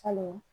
Kalo